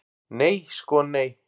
Nei sko nei.